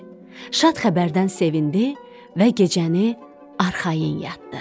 Şad xəbərdən sevindi və gecəni arxayın yatdı.